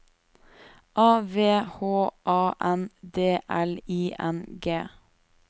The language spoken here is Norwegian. A V H A N D L I N G